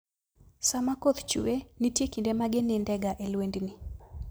Sama koth chue, nitie kinde ma ginindega e lwendni.